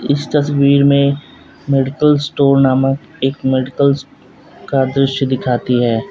इस तस्वीर में मेडिकल स्टोर नामक एक मेडिकल्स का दृश्य दिखाती है।